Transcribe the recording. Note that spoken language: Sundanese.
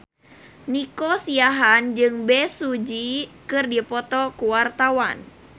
Nico Siahaan jeung Bae Su Ji keur dipoto ku wartawan